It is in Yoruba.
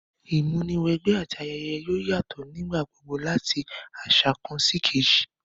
Ìmúniwẹgbẹ́ àti ayẹyẹ yoo yatọ nígbà gbogbo lati aṣa kan síkejì